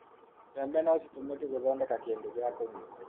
mbembe no citũmĩke gũthondeka kindũ gĩa kũnyua